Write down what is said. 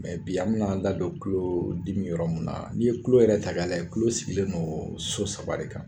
Mɛ bi an bɛna an da don tulo dimi yɔrɔ min na, n'i ye tulo yɛrɛ ta k'a lajɛ, tulo sigilen don so saba de kan.